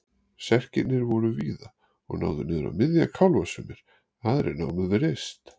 Serkirnir voru víðir og náðu niður á miðja kálfa sumir, aðrir námu við rist.